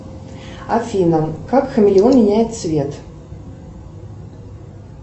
афина как хамелеон меняет цвет